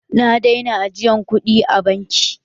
Na daina ajiyan kuɗi a banki.